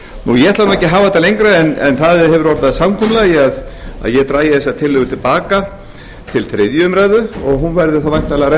ég ætla ekki að hafa þetta lengra en það hefur orðið að samkomulagi að ég drægi þessa tillögu til baka til þriðju umræðu og hún verður þá væntanlega